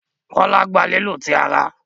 Kola gbà lílu tí àrà.